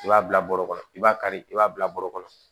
I b'a bila bɔrɔ kɔnɔ i b'a kari i b'a bila bɔrɔ kɔnɔ